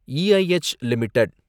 E I H limited